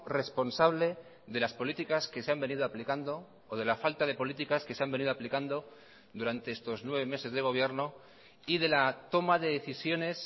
responsable de las políticas que se han venido aplicando o de la falta de políticas que se han venido aplicando durante estos nueve meses de gobierno y de la toma de decisiones